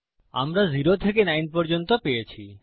আমরা 0 থেকে 9 পর্যন্ত পেয়েছি